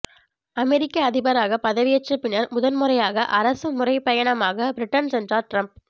அமெரிக்க அதிபராக பதவியேற்ற பின்னர் முதன்முறையாக அரசு முறைப்பயணமாக பிரிட்டன் சென்றார் டிரம்ப்